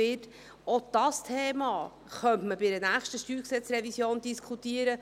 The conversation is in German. Auch dieses Thema könnte man bei der nächsten StG-Revision diskutieren.